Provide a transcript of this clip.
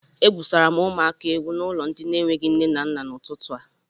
E gwùsara m ụmụaka egwú n'ụlọ ndi n'enweghị nne na nna n'ututu a